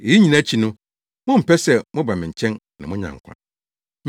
Eyi nyinaa akyi no, mommpɛ sɛ moba me nkyɛn na moanya nkwa!